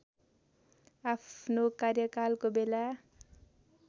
आफ्नो कार्यकालको बेला